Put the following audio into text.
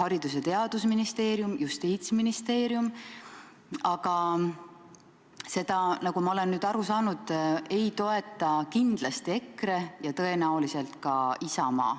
Haridus- ja Teadusministeerium, Justiitsministeerium, aga seda, nagu ma olen nüüd aru saanud, ei toeta kindlasti EKRE ega tõenäoliselt ka Isamaa.